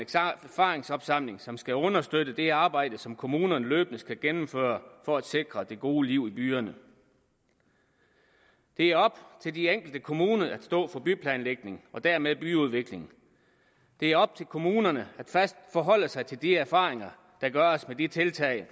erfaringsopsamling som skal understøtte det arbejde som kommunerne løbende skal gennemføre for at sikre det gode liv i byerne det er op til de enkelte kommuner at stå for byplanlægning og dermed byudvikling det er op til kommunerne at forholde sig til de erfaringer der gøres med de tiltag